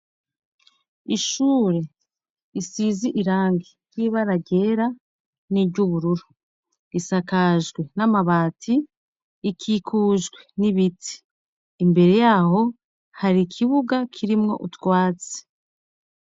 Ishure risize irangi ry'ibara ryera n'iryubururu, isakajwe n'amabati, ikikujwe n'ibiti, imbere yaho hari ikibuga kirimwo utwatsi.